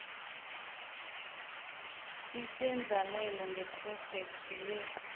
isendlalelo ngephrojekhthi le